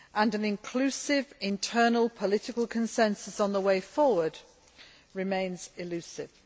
An inclusive internal political consensus on the way forward remains elusive.